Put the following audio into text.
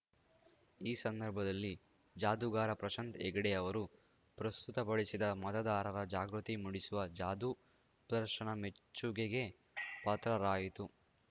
ಈ ಸಂದರ್ಭದಲ್ಲಿ ಜಾದೂಗಾರ ಪ್ರಶಾಂತ್‌ ಹೆಗ್ಡೆ ಅವರು ಪ್ರಸ್ತುತಪಡಿಸಿದ ಮತದಾರರ ಜಾಗೃತಿ ಮೂಡಿಸುವ ಜಾದೂ ಪ್ರದರ್ಶನ ಮೆಚ್ಚುಗೆಗೆ ಪಾತ್ರರಾಯಿತು